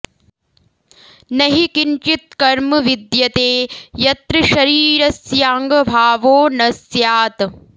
न हि किंचित्कर्म विद्यते यत्र शरीरस्याङ्गभावो न स्यात्